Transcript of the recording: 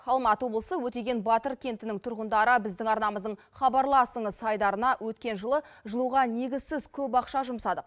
алматы облысы өтеген батыр кентінің тұрғындары біздің арнамыздың хабарласыңыз айдарына өткен жылы жылуға негізсіз көп ақша жұмсадық